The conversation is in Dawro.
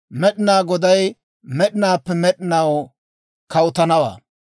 Med'inaa Goday med'inaappe med'inaw kawutanawaa.»